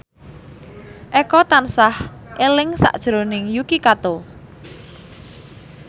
Eko tansah eling sakjroning Yuki Kato